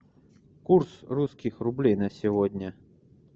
курс русских рублей на сегодня